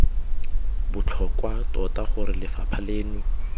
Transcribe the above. botlhokwa tota gore lefapha leno